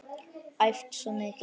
Æft svo mikið.